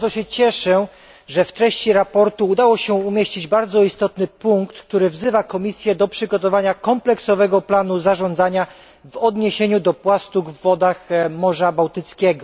Bardzo się cieszę, że w treści sprawozdania udało się umieścić bardzo istotny punkt, który wzywa Komisję do przygotowania kompleksowego planu zarządzania w odniesieniu do płastug w wodach Morza Bałtyckiego.